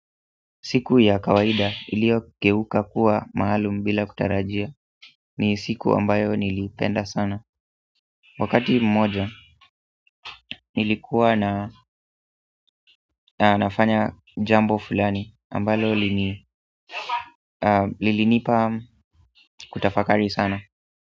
Siku ya kawaida ilio geuka kuwa maalum bila kutarajia ni siku ambayo nilipenda sana Wakati mmoja nilikuwa na nafanya jambo fulani ambalo lilinipa kutafakari sana.